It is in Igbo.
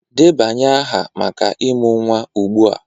Debanye aha maka ịmụ nwa ugbu a!